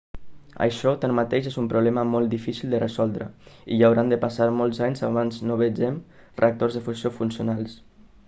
això tanmateix és un problema molt difícil de resoldre i hauran de passar molts anys abans no vegem reactors de fusió funcionals